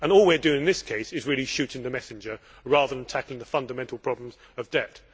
All we are doing in this case is really shooting the messenger rather than tackling the fundamental problems of debt.